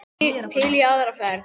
Til í aðra ferð.